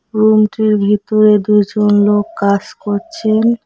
Room -টির ভিতরে দুইজন লোক কাস করছেন।